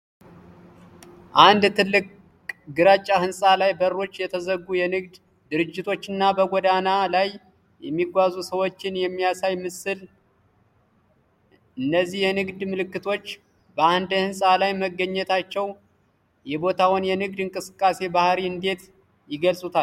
አንድ ትልቅ ግራጫ ሕንፃ ላይ በሮች የተዘጉ የንግድ ድርጅቶችና በጎዳና ላይ የሚጓዙ ሰዎችን የሚያሳይ ምስል፣ ል፤ እነዚህ የንግድ ምልክቶች በአንድ ሕንፃ ላይ መገኘታቸው የቦታውን የንግድ እንቅስቃሴ ባህሪ እንዴት ይገልጹታል?